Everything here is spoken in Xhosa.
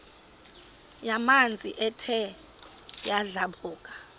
yamanzi ethe yadlabhuka